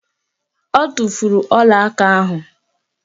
O tufuru ọlaaka ahụ